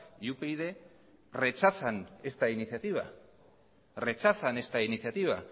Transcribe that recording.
y upyd rechazan esta iniciativa